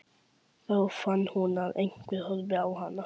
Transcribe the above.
Þá fann hún að einhver horfði á hana.